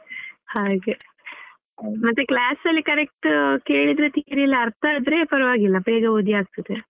ಹಾಗೆ ಮತ್ತೆ class ಅಲ್ಲಿ correct ಕೇಳಿದ್ರೆ theory ಎಲ್ಲ ಅರ್ಥ ಆದ್ರೆ ಪರವಾಗಿಲ್ಲ ಬೇಗ ಓದಿ ಆಗ್ತದೆ.